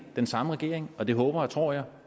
den samme regering og det håber og tror jeg